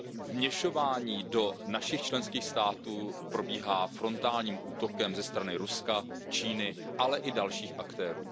Vměšování do našich členských států probíhá frontálním útokem ze strany Ruska, Číny, ale i dalších aktérů.